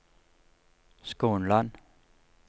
Skånland